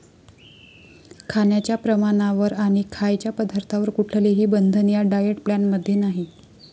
खाण्याच्या प्रमाणावर आणि खायच्या पदार्थांवर कुठलेही बंधन या डाएट प्लॅन मध्ये नाही.